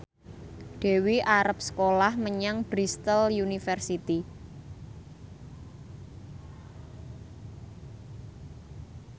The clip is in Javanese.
Dewi arep sekolah menyang Bristol university